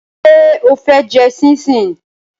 Ṣé o fẹ́ jẹ ṣíńṣiǹ?